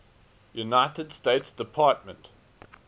united states department